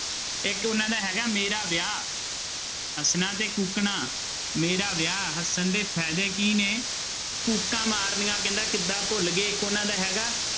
ਇੱਕ ਉਹਨਾਂ ਦਾ ਹੈਗਾ ਮੇਰਾ ਵਿਆਹ ਹੱਸਣਾ ਤੇ ਕੂਕਣਾ, ਮੇਰਾ ਵਿਆਹ, ਹੱਸਣ ਦੇ ਫ਼ਾਇਦੇ ਕੀ ਨੇ ਕੂਕਾਂ ਮਾਰਨੀਆਂ ਕਹਿੰਦਾ ਕਿੱਦਾਂ ਭੁੱਲ ਗਏ, ਇੱਕ ਉਹਨਾਂ ਦਾ ਹੈਗਾ